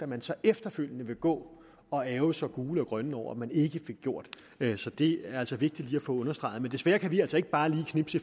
man så efterfølgende vil gå og ærgre sig gul og grøn over at man ikke fik gjort så det er altså vigtigt lige at få understreget men desværre kan vi altså ikke bare lige knipse